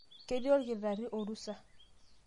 ketii olkitarri orusa